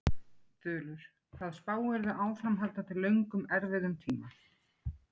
Þulur: Hvað spáirðu áframhaldandi löngum erfiðum tíma?